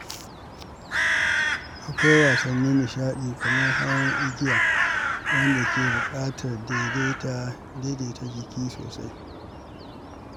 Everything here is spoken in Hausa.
Akwai wasannin nishaɗi kamar hawan igiya, wanda ke buƙatar daidaita jiki sosai.